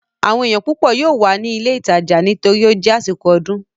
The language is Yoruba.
Àwọn èèyàn púpọ̀ yóò wà ní ilé ìtajà nítorí ó jẹ́ àsìkò ọdún